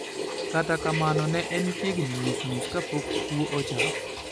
Kata kamano, ne en chiegni nus nus kapok kuo ochako.